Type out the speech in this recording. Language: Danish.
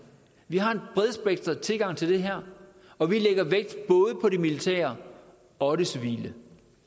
vi har en bredspektret tilgang til det her og vi lægger vægt både på det militære og det civile